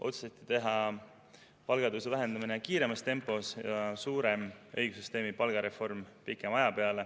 Otsustati teha palgatõusu vähendamine kiiremas tempos ja suurem õigussüsteemi palgareform pikema aja jooksul.